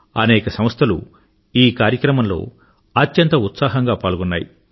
అనేక సంస్థలు ఈ కార్యక్రమంలో అత్యంత ఉత్సాహంగా పాల్గొన్నాయి